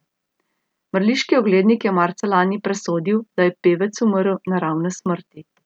Mrliški oglednik je marca lani presodil, da je pevec umrl naravne smrti.